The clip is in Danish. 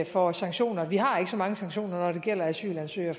for sanktioner vi har ikke så mange sanktioner når det gælder asylansøgere